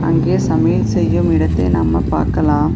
அங்கே சமையல் செய்யும் இடத்தை நம்ம பாக்கலாம்.